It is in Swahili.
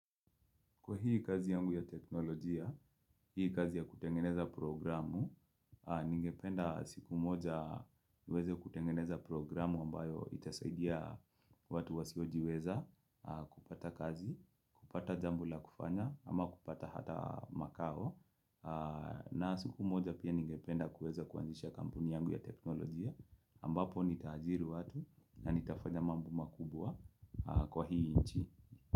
Kwa hii kazi yangu ya teknolojia, hii kazi ya kutengeneza programu, ningependa siku moja weze kutengeneza programu ambayo itasaidia watu wasiojiweza kupata kazi, kupata jambo la kufanya, ama kupata hata makao. Na siku moja pia ningependa kuweze kuanzisha kampuni yangu ya teknolojia, ambapo nitaajiri watu na nitafanya mambo makubwa kwa hii nchi.